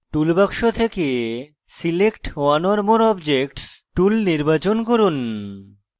toolbox থেকে select one or more objects tool নির্বাচন করুন